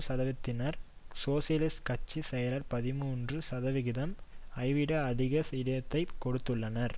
சதவிகிதத்தினர் சோசியலிச கட்சி செயலர் பதிமூன்று சதவிகிதம் ஐவிட அதிக இடத்தை கொடுத்துள்ளனர்